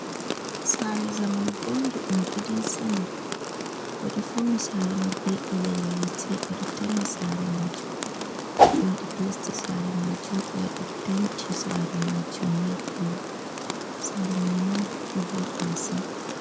Saare zamanu bondu ɗum gidan sama. Ɓe ɗo fauni saare mai be ilal yite, ɓe ɗo tarni saare majum, ɓe waɗi plesta saare majum, ɓe waɗi penti saare majum milk kolo. Saare mai ni ɗo voɗi masin.